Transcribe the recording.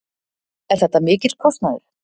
Er þetta mikill kostnaður?